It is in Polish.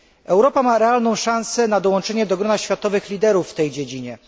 Europa ma realną szansę na dołączenie do grona światowych liderów w tej dziedzinie.